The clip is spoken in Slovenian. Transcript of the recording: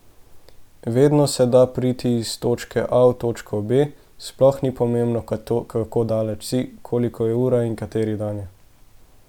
Vedno se da priti iz točke A v točko B, sploh ni pomembno, kako daleč si, koliko je ura in kateri dan je.